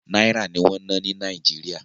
Náírà ní wọn ń ná ní ilé Nàìjíríà